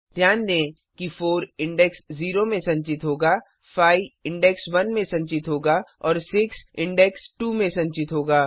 ध्यान दें कि 4 इंडेक्स 0 में संचित होगा 5 इंडेक्स 1 में संचित होगा और 6 इंडेक्स 2 में संचित होगा